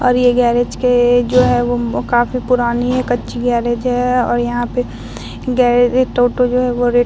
और ये गैरेज के जो है वो काफी पुरानी है कच्ची गैरेज है और यहाँ पे गैरे टोटो जो है वो रेड --